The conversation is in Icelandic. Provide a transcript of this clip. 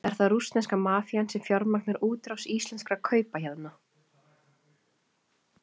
Er það rússneska mafían sem fjármagnar útrás íslenskra kaupahéðna?